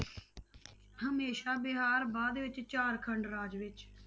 ਹਮੇਸ਼ਾ ਬਿਹਾਰ ਬਾਅਦ ਵਿੱਚ ਝਾਰਖੰਡ ਰਾਜ ਵਿੱਚ।